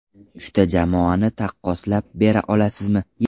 Uchta jamoani taqqoslab bera olasizmi?